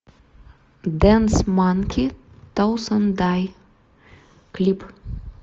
дэнс манки тоунсенд дай клип